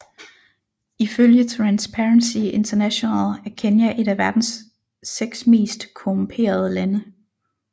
Ifølge Transparency International er Kenya et af verdens seks mest korrumperede lande